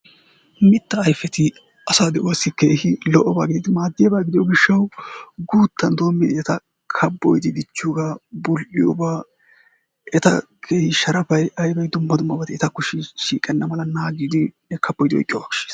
Mittaa ayfeti asaa de'uwaasi keehippe lo"obaa gididi maadiyaaba gidiyoo giishshawu guuttan doomin eta kaabboyidi dichchiyoogaa bul"iyoogaa eta keehi sharapay aybay dumma dummabati etako shiiqenna kaaboyidi naagiyoogaa koshshees.